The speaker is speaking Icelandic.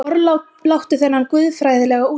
Forláttu þennan guðfræðilega útúrdúr.